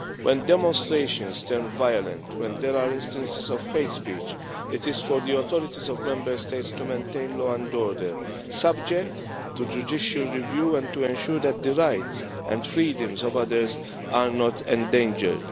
When demonstrations turn violent and when there are instances of hate speech, it is for the authorities of Member States to maintain law and order, subject to judicial review, and to ensure that the rights and freedoms of others are not endangered.